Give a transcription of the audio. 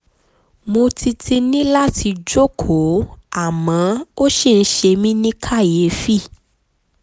mo ti ti ní láti jókòó àmọ́ ó ṣì ń ṣe mí ní kàyéfì